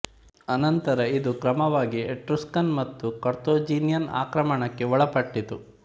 ಅನಂತರ ಇದು ಕ್ರಮವಾಗಿ ಎಟ್ರುಸ್ಕನ್ ಮತ್ತು ಕಾರ್ಥೇಜಿನಿಯನ್ ಆಕ್ರಮಣಕ್ಕೆ ಒಳಪಟ್ಟಿತ್ತು